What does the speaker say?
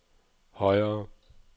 højere